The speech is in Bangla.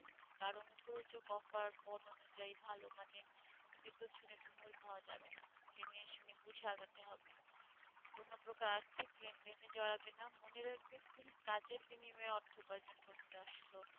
জেনে-শুনে-বুঝে আগাতে হবে কোন প্রকার আর্থিক লেনদেনে জড়াবে না মনে রাখবে তুমি কাজের বিনিময় অর্থ উপার্জন করতে আসছ।